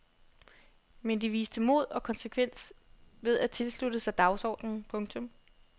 Men de viste mod og konsekvens ved at tilslutte sig dagsordenen. punktum